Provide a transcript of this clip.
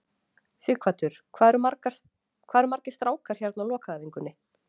Sighvatur: Hvað eru margir strákar hérna á lokaæfingunni?